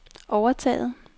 overtaget